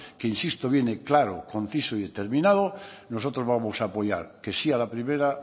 que insisto viene claro conciso y determinado nosotros vamos a apoyar que sí a la primera